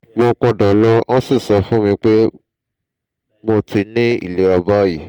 mo padà lọ wọ́n sì sọ fún mi pé mo ti ní ìlera báyìí